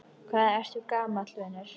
Hvað ertu gamall, vinur?